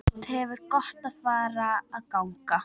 Þú hefðir gott af að ganga.